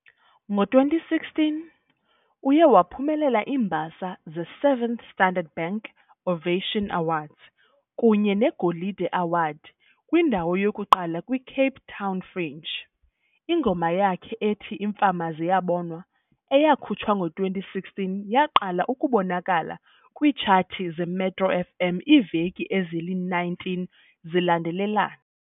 Ngo-2016, uye waphumelela iimbasa ze- 7th Standard Bank Ovation Awards kunye neGolide Award kwindawo yokuqala kwi-Cape Town Fringe. Ingoma yakhe ethi "Imfama Ziyabona" eyakhutshwa ngo-2016, yaqala ukubonakala kwiitshathi zeMetro FM iiveki ezili-19 zilandelelana.